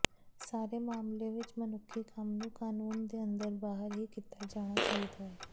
ਸਾਰੇ ਮਾਮਲੇ ਵਿੱਚ ਮਨੁੱਖੀ ਕੰਮ ਨੂੰ ਕਾਨੂੰਨ ਦੇ ਅੰਦਰ ਬਾਹਰ ਹੀ ਕੀਤਾ ਜਾਣਾ ਚਾਹੀਦਾ ਹੈ